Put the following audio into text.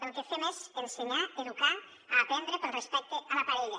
el que fem és ensenyar educar aprendre pel respecte a la parella